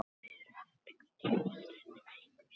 Þið eruð heppin hvað dollarinn er veikur, sagði Bill.